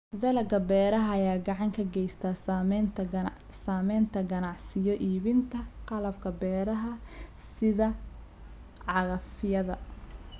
Dalagga beeraha ayaa gacan ka geysta sameynta ganacsiyo iibinaya qalabka beeraha sida cagafyada.